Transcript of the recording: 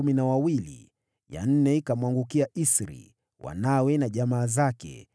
ya nne ikamwangukia Isri, wanawe na jamaa zake, 12